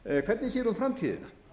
hvernig sér hún framtíðina